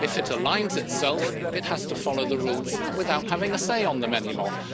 costs. If it aligns itself, it has to follow the rules without having a say on them